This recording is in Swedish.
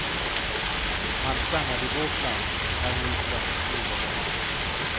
Han stannade i vårt land, är nu svensk medborgare.